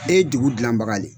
E ye dugu dilan baga de ye.